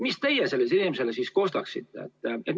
" Mida teie sellele inimesele kostaksite?